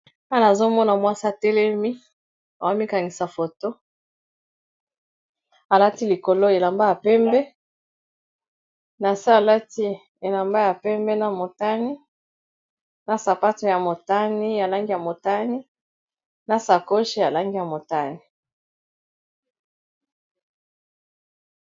Wana azomona mwasa telemi owamikanisa foto alati likolo elamba ya pembe, na se alati elamba ya pembe, na motani na sapate ya motani ya langi ya motani na sakoche ya langi ya motani.